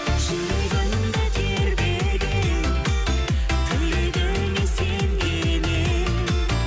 жүрегімді тербеген тілегіңе сенген едім